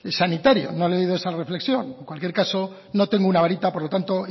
sanitario no le he oído esa reflexión en cualquier caso no tengo una varita por lo tanto